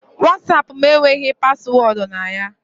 WhatsApp m enweghị paswọọdụ na ya.